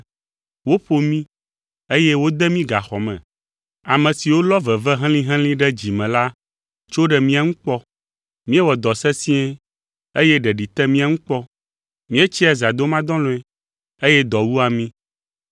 Woƒo mí, eye wode mí gaxɔ me. Ame siwo lɔ veve helĩhelĩ ɖe dzi me la tso ɖe mía ŋu kpɔ. Míewɔ dɔ sesĩe, eye ɖeɖi te mía ŋu kpɔ; míetsia zãdomadɔlɔ̃e, eye dɔ wua mí.